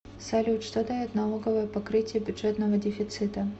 салют что дает налоговое покрытие бюджетного дефицита